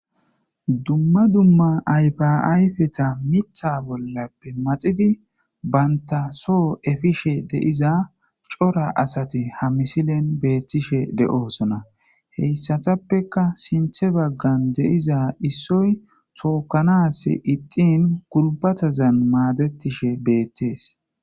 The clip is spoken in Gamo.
Dumma dumma ayfa ayfeta miththa bollappe maxidi banta soho efishe de'iza cora asati ha misilen beettishe de'osona. Heyssatappekka sinththe baggan de'iza issoy tookkanas ixxin gulbatazan maadettishe beettes.